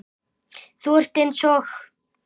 Þú ert eins og